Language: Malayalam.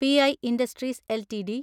P E industries LTD